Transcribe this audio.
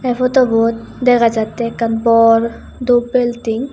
eh photobot degajate ekan bor dub building.